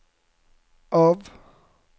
av